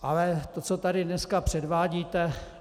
Ale to, co tady dneska předvádíte...